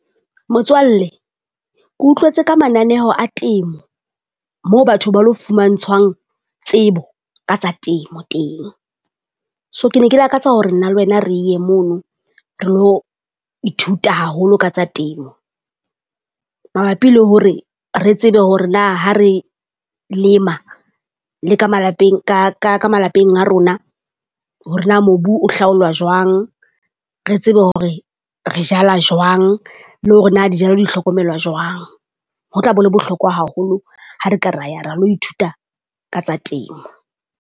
Motswalle Ko utlwetse ka mananeo a temo moo batho ba lo fumantshwang tsebo ka tsa temo teng. So ke ne ke lakatsa hore nna le wena re ye mono re lo ithuta haholo ka tsa temo. Mabapi le hore re tsebe hore na ha re lema le ka malapeng ka ka ka malapeng a rona. Hore na mobu o hlaolwa jwang, re tsebe hore re jala jwang le hore na dijalo di hlokomelwa jwang. Ho tla be le bohlokwa haholo ha re ka ra ya ra lo ithuta ka tsa temo.